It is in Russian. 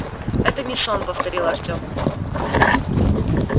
это не сон повторил артем